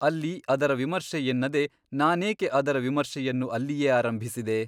ಅಲ್ಲಿ ಅದರ ವಿಮರ್ಶೆ ಎನ್ನದೆ ನಾನೇಕೆ ಅದರ ವಿಮರ್ಶೆಯನ್ನು ಅಲ್ಲಿಯೇ ಆರಂಭಿಸಿದೆ ?